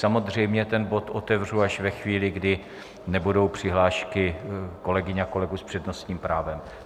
Samozřejmě ten bod otevřu až ve chvíli, kdy nebudou přihlášky kolegyň a kolegů s přednostním právem.